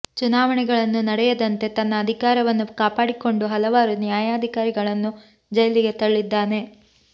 ಚುನಾವಣೆಗಳನ್ನು ನೆಡೆಯದಂತೆ ತನ್ನ ಅಧಿಕಾರವನ್ನು ಕಾಪಾಡಿಕೊಂಡು ಹಲಾವರು ನ್ಯಾಯಾಧಿಕಾರಿಗಳನ್ನು ಜೈಲಿಗೆ ತಳ್ಳಿದ್ದಾನೆ